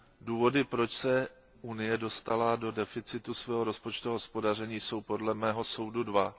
Důvody, proč se Unie dostala do deficitu svého rozpočtového hospodaření, jsou podle mého soudu dva.